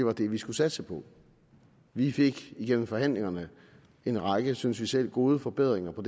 er det vi skal satse på vi fik igennem forhandlingerne en række synes vi selv gode forbedringer og